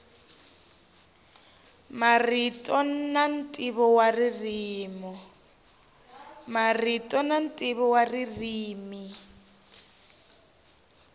marito na ntivo ririmi